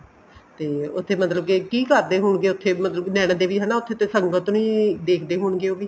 ਤੇ ਉੱਥੇ ਮਤਲਬ ਕੇ ਕੀ ਕਰਦੇ ਹੋਣਗੇ ਉੱਥੇ ਮਤਲਬ ਕੀ ਨੈਨਾਂ ਦੇਵੀ ਹੈਨਾ ਉੱਥੇ ਤੇ ਸੰਗਤ ਨੂੰ ਹੀ ਦੇਖਦੇ ਹੋਣਗੇ ਉਹ ਵੀ